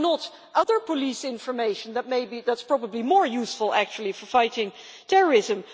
Why not? Other police information that is probably more useful actually for fighting terrorism?